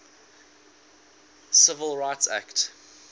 civil rights act